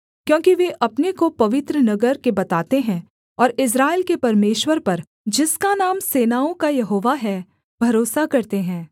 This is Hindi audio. क्योंकि वे अपने को पवित्र नगर के बताते हैं और इस्राएल के परमेश्वर पर जिसका नाम सेनाओं का यहोवा है भरोसा करते हैं